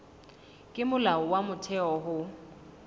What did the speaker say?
ke molao wa motheo ho